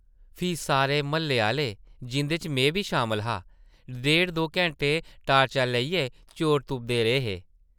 फ्ही सारे म्हल्ले आह्ले, जिंʼदे च में बी शामल हा, डेढ-दो घैंटे टार्चां लेइयै चोर तुपदे रेह् हे ।